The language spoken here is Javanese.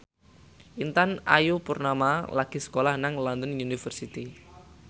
Intan Ayu Purnama lagi sekolah nang London University